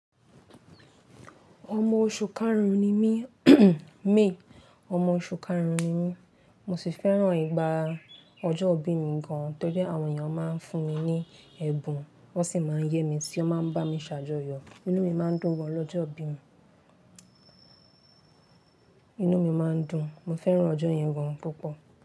Ọmọ oṣù karùn-ún ni mí, may, ọmọ oṣù karùn-ún ni mí. Mo sì fẹ́ràn ìgbà ọjọ́ ìbí mi gan-an tí ó jẹ́ àwọn èèyàn máa ń fún mi ní ẹ̀bùn, wọ́n sì máa ń yẹ mi tí wọ́n máa ń bá mi ṣàjọyọ̀. Inú mi máa ń dùn gan-an lọ́jọ́ ìbí mi. Inú mi máa ń dùn. Mo fẹ́ràn ọjọ́ yẹn gan-an púpọ̀